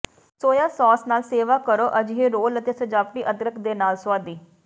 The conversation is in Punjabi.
ਸੋਇਆ ਸਾਸ ਨਾਲ ਸੇਵਾ ਕਰੋ ਅਜਿਹੇ ਰੋਲ ਅਤੇ ਸਜਾਵਟੀ ਅਦਰਕ ਦੇ ਨਾਲ ਸੁਆਦੀ